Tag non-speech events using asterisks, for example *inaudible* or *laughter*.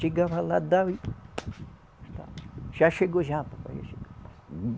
Chegava lá, dava e já chegou? Já, papai, já *unintelligible*